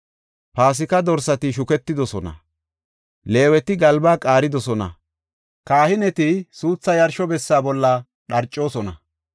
Paasika dorsati shuketidosona; Leeweti galbaa qaaridosona; kahineti suuthaa yarsho bessa bolla dharcoosona.